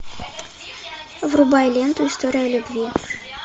врубай ленту история любви